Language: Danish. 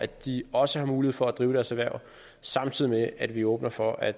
de også har mulighed for at drive deres erhverv samtidig med at vi åbner for at